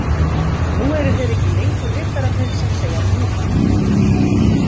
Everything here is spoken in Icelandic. Nú eru þeir ekki lengur riddararnir sem segja Ni!